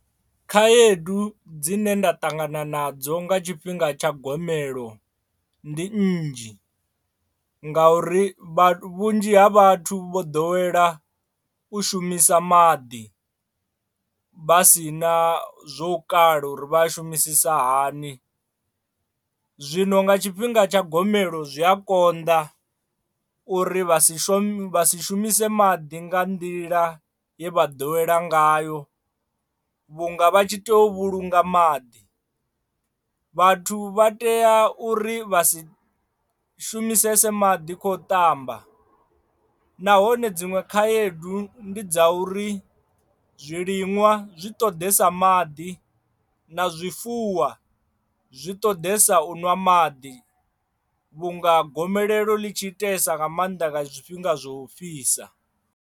khaedu dzine nda ṱangana nadzo nga tshifhinga tsha gomelelo ndi nnzhi ngauri vha vhunzhi ha vhathu vho ḓowela u shumisa maḓi vha si na zwo kala uri vha a shumisisa hani, zwino nga tshifhinga tsha gomelelo zwi a konḓa uri vha si shumise vha si shumise maḓi nga nḓila ye vha ḓowela ngayo vhunga vha tshi tea u vhulunga maḓi. Vhathu vha tea uri vha si shumisese maḓi kho ṱamba nahone dziṅwe khaedu ndi dza uri zwiliṅwa zwi ṱoḓesa maḓi na zwifuwa zwi ṱoḓesa u ṅwa maḓi vhunga gomelelo ḽi tshi iteesa nga maanḓa nga zwifhinga zwo u fhisa.